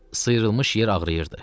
Sıyırılmış yer ağrıyırdı.